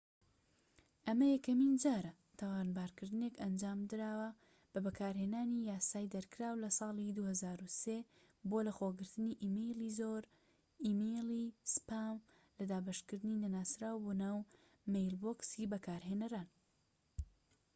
ئەمە یەکەمین جارە تاوانبارکردنێک ئەنجامدراوە بە بەکارهێنانی یاسای دەرکراو لە ساڵی 2003 بۆ لەخۆگرتنی ئیمەیلی زۆر ئیمێیڵی سپام لە دابەشکردنی نەناسراو بۆ ناو مەیلبۆکسی بەکارهێنەران